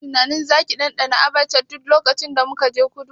Kina tunanin zaki ɗanɗana Abacha duk lokacin da muka je kudu?